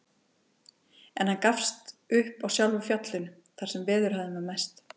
En hann gafst upp á sjálfu fjallinu, þar sem veðurhæðin var mest.